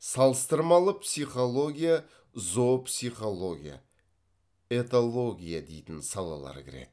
салыстырмалы психология зоопсихология этология дейтін салалар кіреді